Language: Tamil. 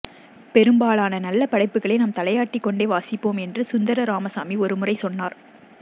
பெரும்பாலான நல்ல படைப்புக்களை நாம் தலையாட்டிக்கொண்டே வாசிப்போம் என்று சுந்தர ராமசாமி ஒருமுறை சொன்னார்